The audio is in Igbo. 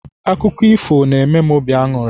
Akụkọ ifo n'eme m obi aṅụrị.